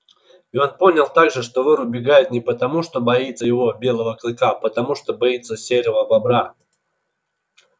и он понял также что вор убегает не потому что боится его белого клыка а потому что боится серого бобра